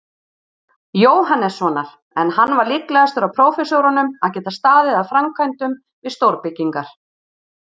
Jóhannessonar, en hann var líklegastur af prófessorunum að geta staðið að framkvæmdum við stórbyggingar.